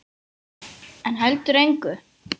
En heldur engu.